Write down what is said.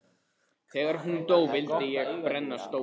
Þegar hún dó vildi ég brenna stólinn.